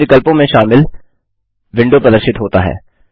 विभिन्न विकल्पों में शामिल विंडो प्रदर्शित होता है